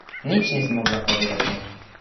Nič ni zmogla povedati.